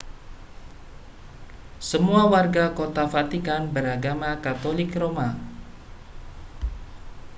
semua warga kota vatikan beragama katolik roma